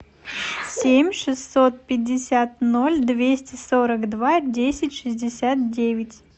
семь шестьсот пятьдесят ноль двести сорок два десять шестьдесят девять